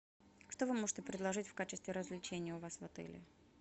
что вы можете предложить в качестве развлечения у вас в отеле